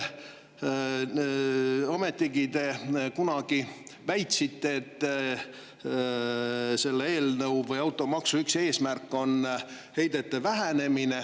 Te kunagi väitsite, et automaksu üks eesmärk on heidete vähendamine.